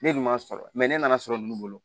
Ne dun man sɔrɔ ne nana sɔrɔ nunnu bolo